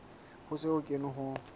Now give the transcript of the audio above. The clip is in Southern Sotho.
ho se ho kenwe ho